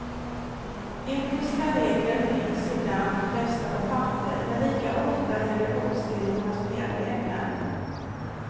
Etiska regler finns ibland fästa på papper, men lika ofta gäller oskrivna spelregler.